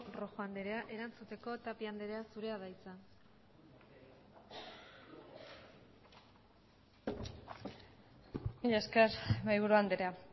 rojo andrea erantzuteko tapia andrea zurea da hitza mila esker mahaiburu andrea